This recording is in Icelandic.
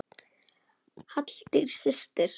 Halldís systir.